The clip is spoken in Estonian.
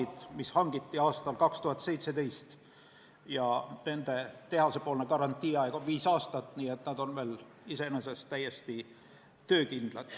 Need vestid hangiti aastal 2017 ja nende tehasest antud garantiiaeg on viis aastat, nii et nad on iseenesest veel täiesti töökindlad.